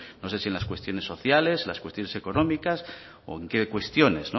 no sé si en las cuestiones sociales las cuestiones económicas o en qué cuestiones